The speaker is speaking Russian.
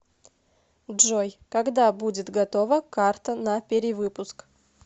джой когда будет готова карта на перевыпуск